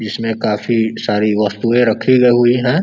इसमें काफ़ी सारी वस्तुएँ रखी गई है।